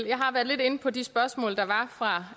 jeg har været lidt inde på de spørgsmål der var fra